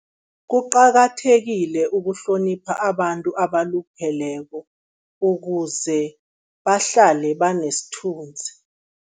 Kuqakathekile ukuhlonipha abantu abalupheleko, ukuze bahlale banesithunzi.